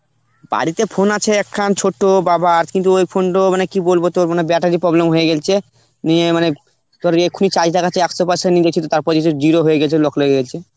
বাড়িতে phone আছে একখান ছোট্ট বাবার, কিন্তু ওই phone টো মানে কি বলবো তোর মানে battery এর problem হয়ে গেছে. ইয়ে মানে তোর এক্ষুনি charge দেখাচ্ছে একশো percent তারপর হচ্ছে zero হয়ে গেছে, lock লেগে গেছে.